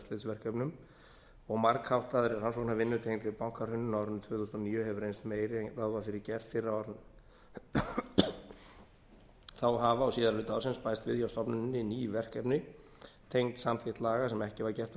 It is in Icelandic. og eftirlitsverkefnum og margháttaðri rannsóknarvinnu tengdri bankahruninu á árinu tvö þúsund og níu hefur reynst meiri en ráð var fyrir gert fyrr á árinu þá hafa á síðari hluta ársins bæst við hjá stofnuninni ný verkefni tengd samþykkt laga sem ekki var gert